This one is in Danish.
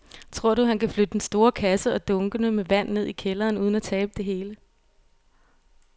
Tror du, at han kan flytte den store kasse og dunkene med vand ned i kælderen uden at tabe det hele?